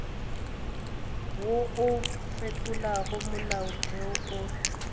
wo o fetolago molaotheo o